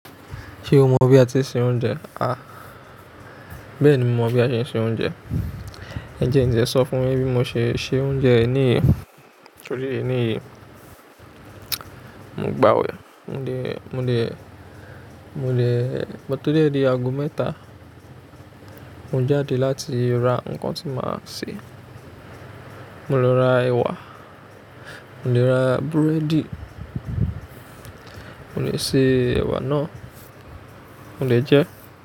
Ṣé o mọ bí a ti ṣe oúnjẹ? Àh, bẹ́ẹ̀ni mo mọ bí a ṣe ń se oúnjẹ. Ǹjẹ́ ǹjẹ́ sọ fún yín bí mo ṣe se oúnjẹ ní yẹn? Torí ení yì, mo gbà á wẹ̀. Mo de, mo de, mo de, mo tó de èdè ago mẹ́ta, mo jáde láti ra nǹkan tí màá ṣe. Mo lọ ra ẹwà, mo lọ ra búrẹ́dì, mo le se ẹwà náà, mo le jẹ ẹ́.